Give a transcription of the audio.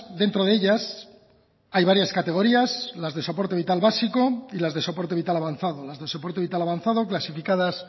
dentro de ellas hay varias categorías las de soporte vital básico y las de soporte vital avanzado las de soporte vital avanzado clasificadas